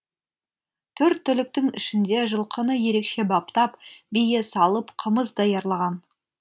төрт түліктің ішінде жылқыны ерекше баптап бие салып қымыз даярлаған